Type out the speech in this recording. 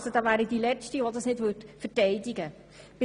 da wäre ich die Letzte, die das nicht verteidigen würde.